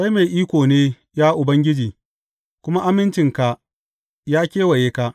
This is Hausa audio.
Kai mai iko ne, ya Ubangiji, kuma amincinka ya kewaye ka.